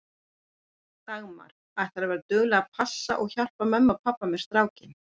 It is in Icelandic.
Dagmar: Ætlarðu að vera dugleg að passa og hjálpa mömmu og pabba með strákinn?